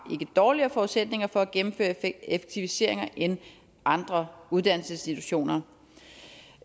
dårligere forudsætninger for at gennemføre effektiviseringer end andre uddannelsesinstitutioner